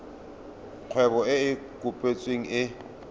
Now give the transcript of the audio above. kgwebo e e kopetsweng e